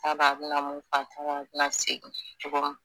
T'a dɔn a bi na mun kɛ a t'a dɔn a bi na segin cogo min